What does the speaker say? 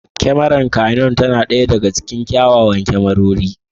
Kyamarar Canon tana ɗaya daga cikin mafi kyawun kyamarori.